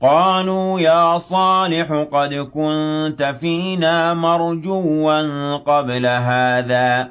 قَالُوا يَا صَالِحُ قَدْ كُنتَ فِينَا مَرْجُوًّا قَبْلَ هَٰذَا ۖ